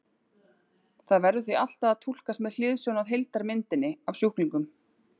Það verður því alltaf að túlkast með hliðsjón af heildarmyndinni af sjúklingnum.